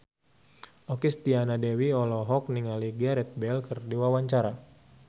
Okky Setiana Dewi olohok ningali Gareth Bale keur diwawancara